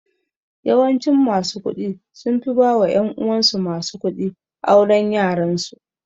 Yawancin masu kuɗi sunfi ba wa ƴan uwansu masu kuɗi auren yaransu